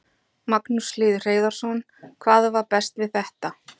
Magnús Hlynur Hreiðarsson: Hvað var best við þetta?